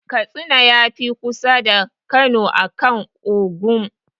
Katsina ya fi kusa da Kano akan Ogun.